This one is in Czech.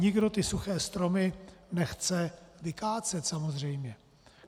Nikdo ty suché stromy nechce vykácet, samozřejmě.